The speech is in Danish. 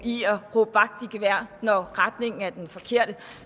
at råbe vagt i gevær når retningen er den forkerte